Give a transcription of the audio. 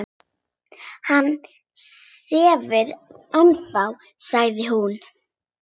Hann sefur ennþá, sagði hún.